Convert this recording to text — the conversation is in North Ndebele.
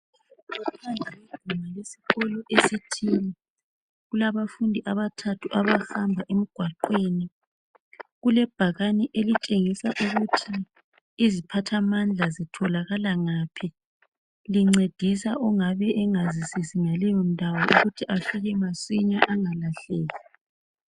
Phambi kweguma lesikolo esithini, kulabafundi abathathu abahamba emgwaqweni. Kulebhakani elitshengisa ukuthi iziphathamandla zitholakala ngaphi. Lincedisa ongabe engazisisi ngaleyo ndawo ukuze afike masinya angalahleki